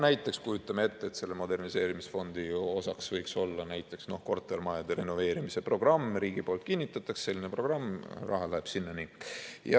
Näiteks kujutame ette, et selle moderniseerimisfondi osaks võiks olla kortermajade renoveerimise programm, riigi poolt kinnitatakse selline programm, raha läheb sinna.